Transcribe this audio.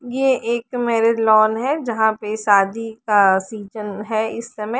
ये एक married lawn है जहां पे शादी का सीजन है इस समय ।